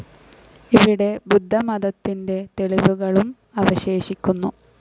ഇവിടെ ബുദ്ധമതത്തിന്റെ തെളിവുകളും അവശേഷിക്കുന്നു.